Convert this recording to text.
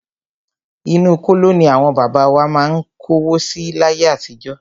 Inú kóló ní àwọn bàbá wa má ń kówó si láyé àtijọ́.